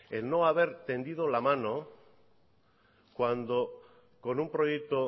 el no haber tendido la mano cuando con un proyecto